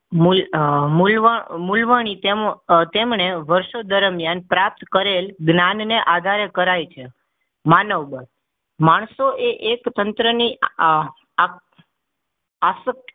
મૂલ મૂલ મુલાણી તેમને વર્ષો દરમિયાન પ્રાપ્ત કરેલા જ્ઞાનના આધારે કરાય છે માનવ દડ માણસોએ એક તંત્રની આ આસક્ત